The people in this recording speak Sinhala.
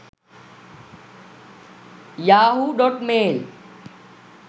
yahoo.mail